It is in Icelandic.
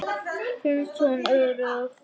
Finnst hún örugg.